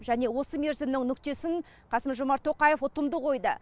және осы мерзімнің нүктесін қасым жомарт тоқаев ұтымды қойды